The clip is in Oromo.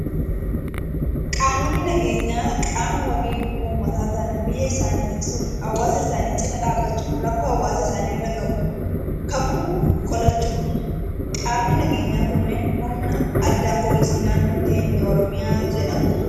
Qaamonni nageenyaa, qaama wabii uummataa ta'an, biyya isaanii tiksuu fi hawaasa isaanii cinaa dhaabbachuun rakkoo hawaasa isaanii irra gahu kamuu qolachuudha. Qaamni nageenyaa kunneen humna addaa poolisii naannoo keenyaa Oromiyaa jedhamu.